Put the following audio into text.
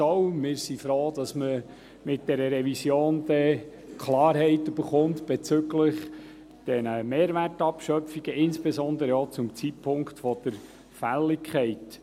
Wir sind froh, dass man mit dieser Revision Klarheit bezüglich der Mehrwertabschöpfungen erhält, insbesondere auch zum Zeitpunkt der Fälligkeit.